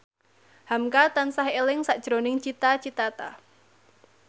hamka tansah eling sakjroning Cita Citata